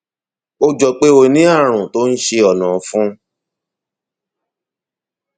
ó jọ pé ó ní ààrùn tó ń ṣe ọnà ọfun